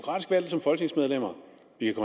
ikke